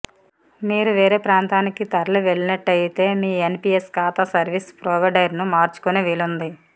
మీరు వేరే ప్రాంతానికి తరలి వెళ్లేట్టయితే మీ ఎన్పీఎస్ ఖాతా సర్వీస్ ప్రొవైడర్ను మార్చుకునే వీలుంది